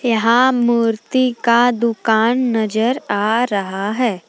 यहां मूर्ति का दुकान नजर आ रहा है।